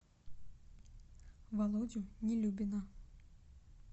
володю нелюбина